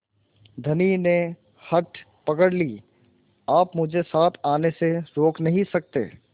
धनी ने हठ पकड़ ली आप मुझे साथ आने से रोक नहीं सकते